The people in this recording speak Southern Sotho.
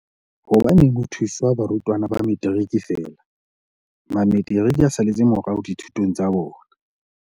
Hobaneng ho thusiwa barutwana ba Metiriki feela? Mametiriki a saletse morao dithutong tsa bona.